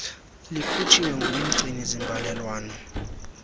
likhutshiwe ngumgcini zimbalelwano